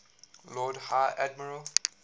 lord high admiral